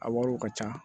A wariw ka ca